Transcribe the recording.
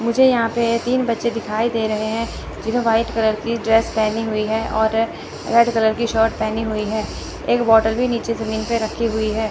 मुझे यहां पे तीन बच्चे दिखाई दे रहे हैं जिन्होंने व्हाइट कलर की ड्रेस पेहनी हुई है और रेड कलर की शर्ट पेहनी हुई हैं एक बॉटल भी नीचे जमीन पे रखी हुई है।